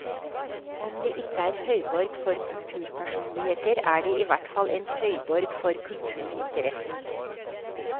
Om det ikke er høyborg for kulturpersonligheter, er det i hvert fall en høyborg for kulturinteressen.